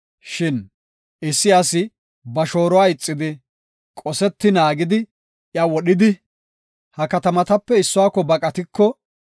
Shin issi asi ba shooruwa ixidi, qoseti naagidi iya wodhidi, ha katamatape issuwako baqatiko,